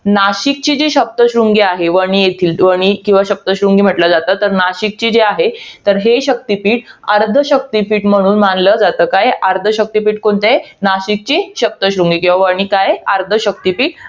नाशिकची जी सप्तशृंगी आहे. वणी येथील. वणी किंवा सप्तशृंगी म्हंटल जातं. तर नाशिकची हि आहे, हे शक्तीपीठ हे अर्ध शक्तीपीठ म्हणून मानलं जातं. काय? अर्ध शक्तीपीठ कोणतं आहे? नाशिकची सप्तशृंगी. किंवा वणी काय आहे? अर्ध शक्तीपीठ